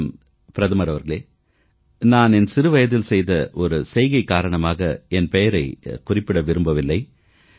வணக்கம் பிரதமர் அவர்களே நான் என் சிறுவயதில் செய்த ஒரு செய்கை காரணமாக என் பெயரைக் குறிப்பிட விரும்பவில்லை